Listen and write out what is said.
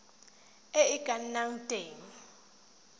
e e ka nnang teng